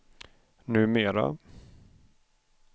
numera